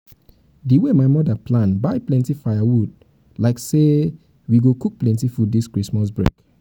di wey my mother plan buy plenty firewood like firewood like say we go cook plenty food this christmas break